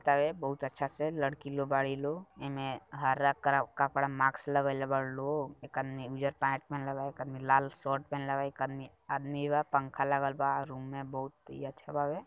का वे बहुत अच्छा से लड़की लोग बारे लोग ए मे हरा करा कपड़ा मास्क लगएले बारू| लोग हो एकर न्यू ईयर पार्टी में एक आदमी लाल शर्ट पहेनले बा एक आदमी बा | पंखा लाल बा रूम में बहुत ही अच्छा भावे|